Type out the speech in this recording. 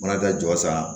Fana ka jɔ san